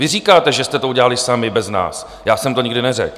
Vy říkáte, že jste to udělali sami bez nás, já jsem to nikdy neřekl.